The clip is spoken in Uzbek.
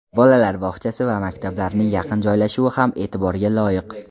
Bolalar bog‘chasi va maktablarning yaqin joylashuvi ham e’tiborga loyiq.